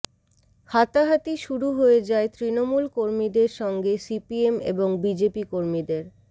হাতাহাতি শুরু হয়ে যায় তৃণমূল কর্মীদের সঙ্গে সিপিএম এবং বিজেপি কর্মীদের